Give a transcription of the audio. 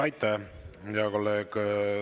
Aitäh, hea kolleeg!